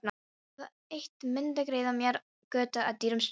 Það eitt mundi greiða mér götu að dyrum guðs.